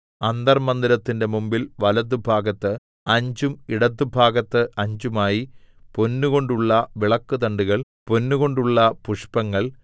അന്തർമ്മന്ദിരത്തിന്റെ മുമ്പിൽ വലത്തുഭാഗത്ത് അഞ്ചും ഇടത്തുഭാഗത്ത് അഞ്ചുമായി പൊന്നുകൊണ്ടുള്ള വിളക്കുതണ്ടുകൾ പൊന്നുകൊണ്ടുള്ള പുഷ്പങ്ങൾ